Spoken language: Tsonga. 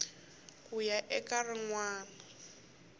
ku ya eka rin wana